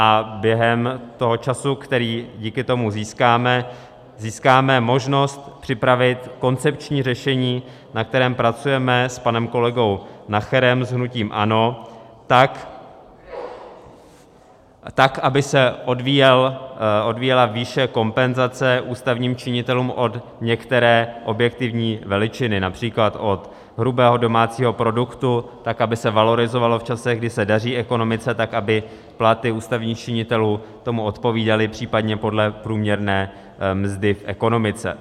A během toho času, který díky tomu získáme, získáme možnost připravit koncepční řešení, na kterém pracujeme s panem kolegou Nacherem, s hnutím ANO, tak aby se odvíjela výše kompenzace ústavním činitelům od některé objektivní veličiny, například od hrubého domácího produktu, tak aby se valorizovalo v časech, kdy se daří ekonomice, tak aby platy ústavních činitelů tomu odpovídaly, případně podle průměrné mzdy v ekonomice.